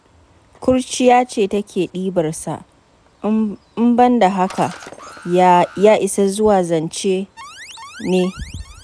Ƙurciya ce take ɗibar sa, in ban da haka ya isa zuwa zance ne?